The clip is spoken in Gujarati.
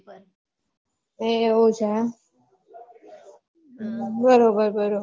એવું છે એમ હમ બરોબર બરોબર